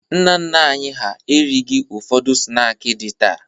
Nna nna anyị hà erighi ụfọdụ snaakị dị taa.